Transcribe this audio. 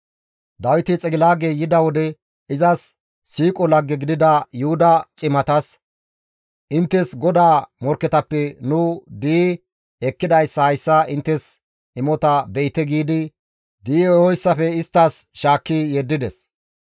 Dawiti Xigilaage yida wode izas siiqo lagge gidida Yuhuda cimatas, «Inttes GODAA morkketappe nu di7i ekkidayssa hayssa inttes imota be7ite» giidi di7i ehoyssafe isttas shaakki yeddides.